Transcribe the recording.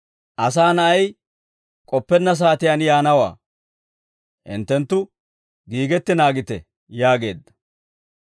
Asaa na'ay k'oppenna saatiyaan yaanawaa; hinttenttu giigetti naagite» yaageedda.